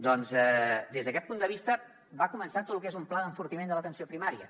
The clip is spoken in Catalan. doncs des d’aquest punt de vista va començar tot lo que és un pla d’enfortiment de l’atenció primària